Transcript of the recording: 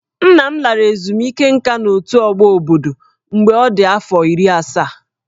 Nna m lara ezumike nká n'otù ọgbọ obodo mgbe ọ dị afọ iri asaa